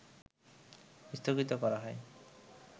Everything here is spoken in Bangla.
স্থগিত করা হয়